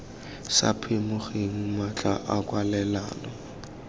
sa phimogeng matlha a kwalelano